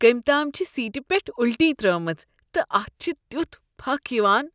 کٔمۍ تام چھےٚ سیٖٹہ پٮ۪ٹھ الٹی ترٛٲومٕژ تہٕ اتھ چھ تیتھ پھکھ یوان۔